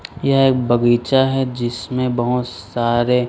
यह एक बगीचा है जिसमें बहोत सारे--